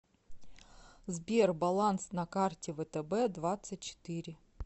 сбер баланс на карте втб двадцать четыре